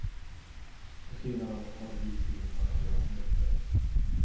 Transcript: På senare år har det blivit glest mellan deras möten.